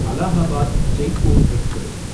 Allahabad Jaipur express